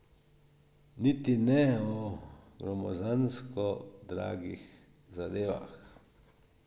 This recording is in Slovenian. Niti ne o gromozansko dragih zadevah.